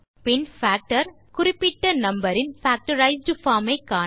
பின் factor குறிப்பிட்ட number இன் factorised form ஐ காண